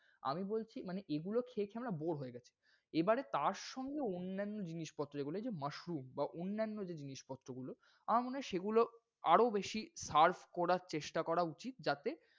আমি বলছি, মানে এগুলো খেয়ে খেয়ে আমরা bore হয়ে গেছি। এবারে তারসঙ্গে অন্যান্য জিনিসপত্র যেগুলো এইযে, mushroom বা অন্যান্য যে জিনিসপত্রগুলো আমার মনে হয় সেগুলো আরও বেশি serve করার চেষ্টা করা উচিৎ। যাতে,